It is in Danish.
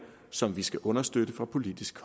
som vi skal understøtte fra politisk